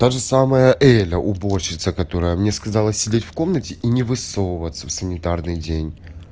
таже самая элля уборщица которая мне сказала сидеть в комнате и не высовываться в санитарный день